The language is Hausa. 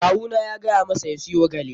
Kawu na ya gaya masa ya siyo gyale.